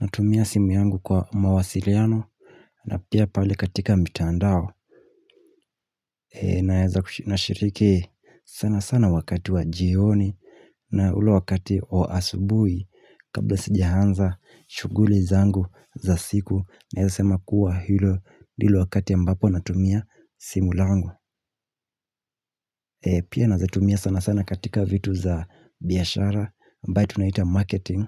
Natumia simu yangu kwa mawasiriano na pia pale katika mtandao. Na eza kushiriki sana sana wakati wa jioni na ule wakati wa asubui kabla sijianza shuguli zangu za siku. Na eza sema kuwa hilo ndilo wakati ambapo natumia simu langu. Pia na zitumia sana sana katika vitu za biashara mbaye tunaita marketing